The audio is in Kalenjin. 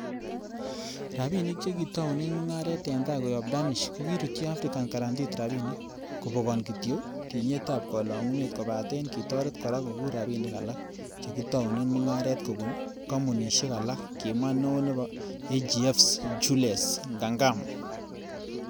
Rabinik chekitounen mungaren en tai koyob Danish kokirutyi African Guaranteed Rabinik, kobokon kityok tinyetab kolongunet kobaten kitoret kora kokuur rabinik alak che kitounen mungaret kobun komounisiek alak, kimwa neo nebo AGFs ,Jules Ngankam.